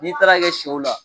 N'i taal'a kɛ sɛw la